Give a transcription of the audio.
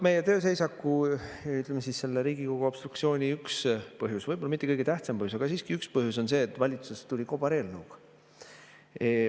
Meie tööseisaku, ütleme, selle Riigikogu obstruktsiooni üks põhjus, võib‑olla mitte kõige tähtsam põhjus, aga siiski üks põhjus on see, et valitsus tuli kobareelnõuga.